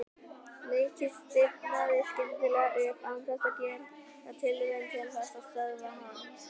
Nikki stífnaði skyndilega upp án þess að gera tilraun til þess að stöðva hana.